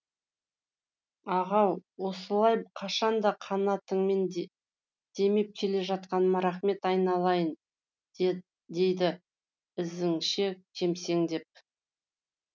ағау осылай қашан да қанатыңмен демеп келе жатқаныңа рақмет айналайын дейді ізінше кемсеңдеп